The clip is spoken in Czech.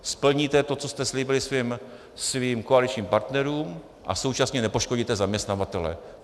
Splníte to, co jste slíbili svým koaličním partnerům, a současně nepoškodíte zaměstnavatele.